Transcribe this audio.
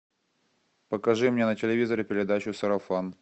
покажи мне на телевизоре передачу сарафан